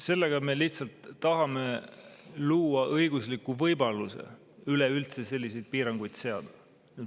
Sellega me lihtsalt tahame luua õigusliku võimaluse üleüldse selliseid piiranguid seada.